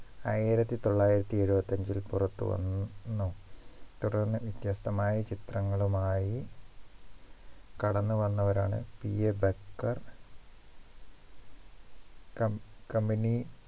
ആയിരത്തി തൊള്ളായിരത്തി എഴുപത്തി അഞ്ചിൽ പുറത്തുവന്ന് ന്നൂ തുടർന്ന് വ്യത്യസ്തമായ ചിത്രങ്ങളുമായി കടന്നുവന്നവരാണ് PA ബക്കർ കം കമ്പനി